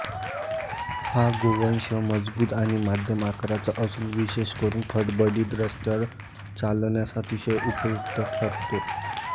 हा गोवंश मजबूत आणि मध्यम आकाराचा असून विशेष करून खडबडीत रस्त्यावर चालण्यास अतिशय उपयुक्त ठरतो